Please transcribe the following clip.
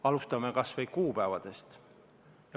Alustame kas või kuupäevadest.